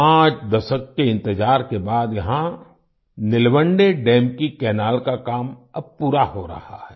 पांच दशक के इंतजार के बाद यहाँ निलवंडे दम निलवंडे डैम की कैनल का काम अब पूरा हो रहा है